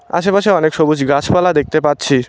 আশেপাশে অনেক সবুজ গাছপালা দেখতে পাচ্ছি।